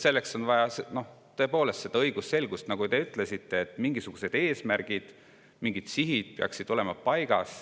Selleks on vaja tõepoolest õigusselgust, ja nagu te ütlesite, siis mingisugused eesmärgid, sihid peaksid olema paigas.